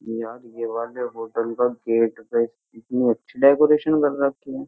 यार ये वाले होटल का गेट पे कितनी अच्छी डेकोरेशन कर रखी है।